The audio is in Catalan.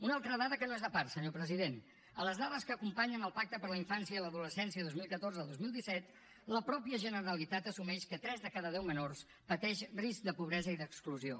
una altra dada que no és de part senyor president a les dades que acompanyen el pacte per la infància i l’adolescència dos mil catorze dos mil disset la mateixa generalitat assumeix que tres de cada deu menors pateixen risc de pobresa i d’exclusió